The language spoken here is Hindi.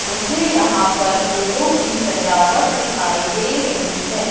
मुझे यहां पर फूलों की सजावट दिखाई दे रही है।